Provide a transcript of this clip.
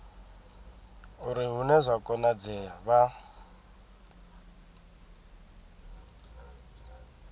uri hune zwa konadzea vha